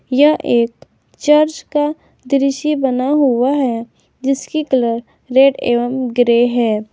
यह एक चर्च का दृश्य बना हुआ है जिसकी कलर रेड एवं ग्रे है।